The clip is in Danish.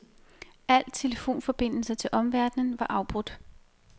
Al telefonforbindelse til omverdenen var afbrudt.